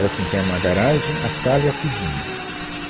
Era assim, tinha uma garagem, a sala e a cozinha.